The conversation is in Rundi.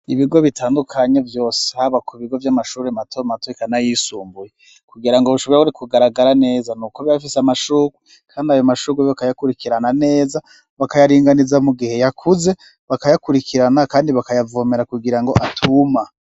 Ibigo bitandukanye vyose haba ku bigo vy'amashuri mato mato eka n'ayisumbuye, kugira ngo bishobore kugaragara neza nuko biba bifise amashurwe, kandi ayo mashugwe bakayakurikirana neza ,bakayaringaniza mu gihe yakuze ,bakayakurikirana kandi bakayavumera kugira ngo atuma.